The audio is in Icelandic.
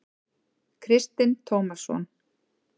Kristinn Tómasson.